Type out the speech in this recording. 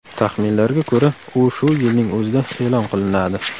Taxminlarga ko‘ra, u shu yilning o‘zida e’lon qilinadi.